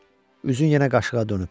Üzün yenə qaşığa dönüb.